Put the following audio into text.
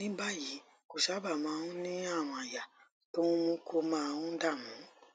ní báyìí kò sábà máa ń ní àrùn àyà tó ń mú kó máa ń dààmú